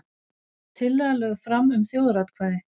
Tillaga lögð fram um þjóðaratkvæði